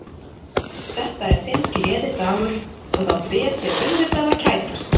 Þetta er þinn gleðidagur og þá ber þér auðvitað að kætast.